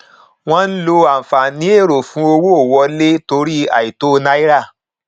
wọn ń lo ànfààní èrò fún owó wọlé torí àìtó náírà